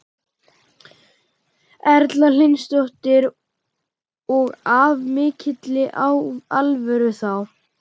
Erla Hlynsdóttir: Og af mikilli alvöru þá?